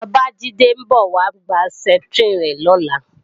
Bàbájídé ń bọ̀ wá gba Septrin rẹ̀ lọ́la